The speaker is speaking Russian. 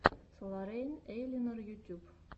соларейн эйлинор ютюб